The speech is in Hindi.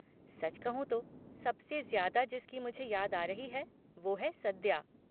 सच कहूँ तो, सबसे ज्यादा जिसकी मुझे याद आ रही है वो है सद्या।